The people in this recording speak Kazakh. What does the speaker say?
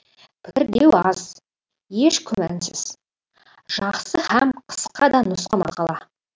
пікір деу аз еш күмәнсіз жақсы һәм қысқа да нұсқа мақала